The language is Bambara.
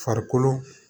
Farikolo